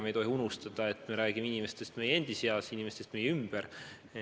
Me ei tohi unustada, et me räägime inimestest meie endi seas, inimestest meie ümber.